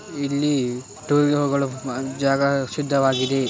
ಇಲ್ಲಿ ಟ್ಯುಯೊಗಳು ಅ-ಜಾಗ ಸಿದ್ಧವಾಗಿದೆ.